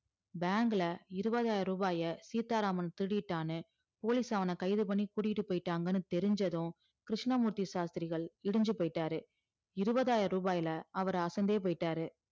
bank ல இறுவதாயரூவாய சீத்தா ராமன் திருடிட்டான்னு police அவன கைது பண்ணி கூட்டிட்டு போய்டாங்கனு தெரின்சதும் கிருஷ்ணமூர்த்தி ஷாஷ்திரிகள் இடிஞ்சி போய்ட்டாரு இறுவதாயரூவாய்ல அவர் அசந்தே போய்ட்டாரு